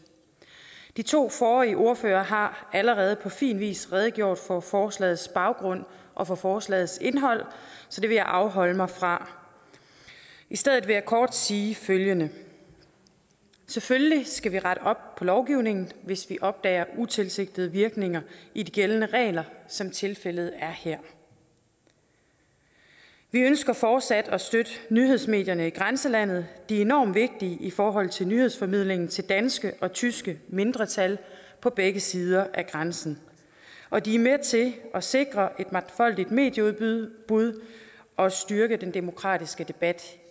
de to forrige ordførere har allerede på fin vis redegjort for forslagets baggrund og for forslagets indhold så det vil jeg afholde mig fra i stedet vil jeg kort sige følgende selvfølgelig skal vi rette op på lovgivningen hvis vi opdager utilsigtede virkninger i de gældende regler som tilfældet er her vi ønsker fortsat at støtte nyhedsmedierne i grænselandet de er enormt vigtige i forhold til nyhedsformidlingen til danske og tyske mindretal på begge sider af grænsen og de er med til at sikre et mangfoldigt medieudbud og at styrke den demokratiske debat